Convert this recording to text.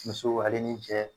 Muso ale ni cɛ